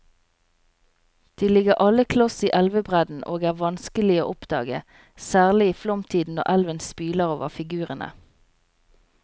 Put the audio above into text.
De ligger alle kloss i elvebredden og er vanskelige å oppdage, særlig i flomtiden når elven spyler over figurene.